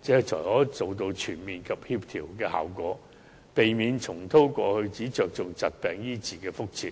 這才可以達到全面及協調效果，避免重蹈過去只着重疾病醫治的覆轍。